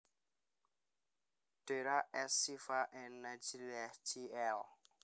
Dera As Syifa An Nahdliyah Jl